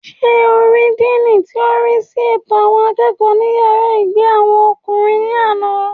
Sé o rí díìnì tí ò ń rísí ètò àwọn akẹ́kọ̀ọ́ ní yàrá ìgbé àwọn ọkùnrin ní àná?